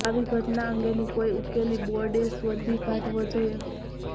આવી ઘટના અંગેનો કોઈ ઉકેલી બોર્ડે શોધી કાઢવો જોઈએ